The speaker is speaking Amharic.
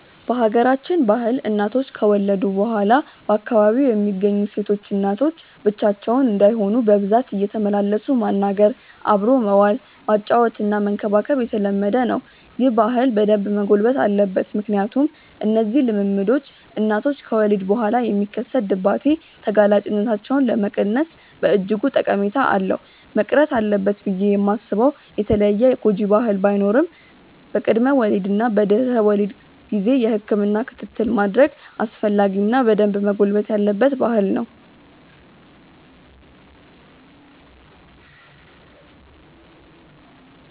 በሀገራችን ባህል እናቶች ከወለዱ በኋላ በአካባቢው የሚገኙ ሴቶች እናቶች ብቻቸውን እንዳይሆኑ በብዛት እየተመላለሱ ማናገር፣ አብሮ መዋል፣ ማጫወትና መንከባከብ የተለመደ ነው። ይህ ባህል በደንብ መጎልበት አለበት ምክንያቱም እነዚህ ልምምዶች እናቶች ከወሊድ በኋላ የሚከሰት ድባቴ ተጋላጭነታቸውን ለመቀነስ በእጅጉ ጠቀሜታ አለው። መቅረት አለበት ብዬ ማስበው የተለየ ጎጂ ባህል ባይኖርም በቅድመ ወሊድ እና በድህረ ወሊድ ጊዜ የህክምና ክትትል ማድረግ አስፈላጊ እና በደንብ መጎልበት ያለበት ባህል ነው።